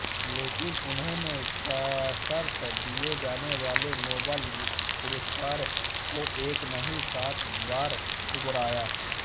लेकिन उन्होंने सशर्त दिये जाने वाले नोबल पुरस्कार को एक नहीं सात बार ठुकराया